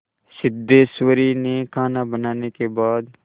सिद्धेश्वरी ने खाना बनाने के बाद